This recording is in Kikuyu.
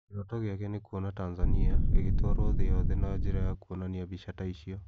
Kĩroto gĩake nĩ kuona Tanzania ĩgĩtwarwo thĩ yothe na njĩra ya kwonania mbica ta icio.